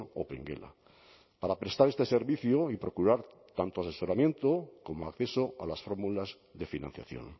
opengela para prestar este servicio y procurar tanto asesoramiento como acceso a las fórmulas de financiación